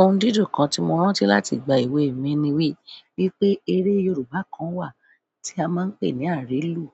Ohun dídùn kan tí mo rántí láti ìgbà èwe mi ni wípé eré Yorùbá kan wà tí a máa ń pè ní àárélù